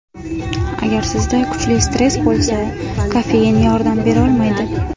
Agar sizda kuchli stress bo‘lsa, kofein yordam berolmaydi.